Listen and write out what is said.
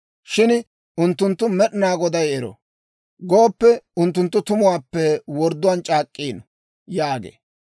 Shin unttunttu, ‹Med'inaa Goday ero› gooppekka, unttunttu tumuwaappe wordduwaan c'aak'k'iino» yaagee.